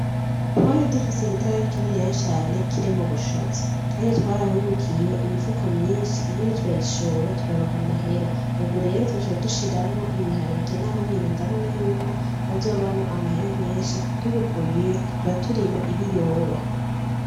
Twari dufise igitara kininiya cane kirimwo ubushaza Kandi twarahungukiye imifuko myinshi iyindi turayishora turaronka amahera ubu rero twaciye dushiramwo ibiharage naho nyene ndabona yuko hazovamwo amahera menshi tubikuyeyo tuzoca turima ibiyoba.